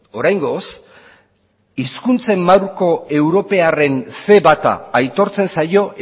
oraingoz hizkuntzen marko europearren ce bata aitortzen zaio